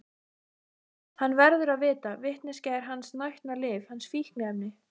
Hann verður að vita, vitneskjan er hans nautnalyf, hans fíkniefni.